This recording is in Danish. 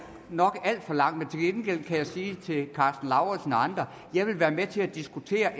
nok alt for langt men til gengæld kan jeg sige til herre karsten lauritzen og andre jeg vil være med til at diskutere